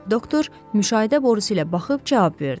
Doktor müşahidə borusu ilə baxıb cavab verdi.